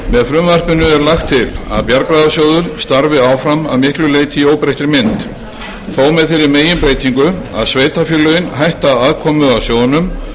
frumvarpinu er lagt til að bjargráðasjóður starfi áfram að miklu leyti í óbreyttri mynd þó með þeirri meginbreytingu að sveitarfélögin hætta aðkomu að sjóðnum